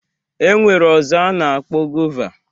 E nwere ọzọ a na-akpọ gova